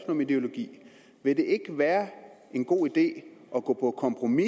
om ideologi være en god idé at gå på kompromis